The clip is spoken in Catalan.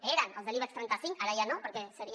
eren els de l’ibex trenta cinc ara ja no perquè seria